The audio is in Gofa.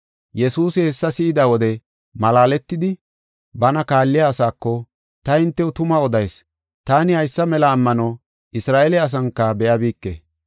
Yesuusi hessa si7ida wode malaaletidi, bana kaalliya asaako, “Ta hintew tuma odayis; taani haysa mela ammano Isra7eele asanka be7abike.